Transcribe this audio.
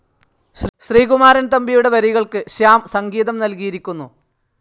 ശ്രീകുമാരൻ തമ്പിയുടെ വരികൾക്ക് ശ്യാം സംഗീതം നൽകിയിരിക്കുന്നു..